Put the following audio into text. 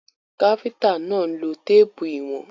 Káfíntà náà ń lo téèpù ìwọ̀n.